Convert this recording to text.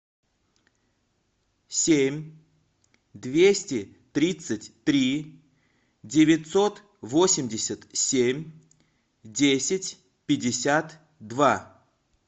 семь двести тридцать три девятьсот восемьдесят семь десять пятьдесят два